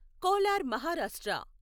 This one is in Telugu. కోలార్ మహారాష్ట్ర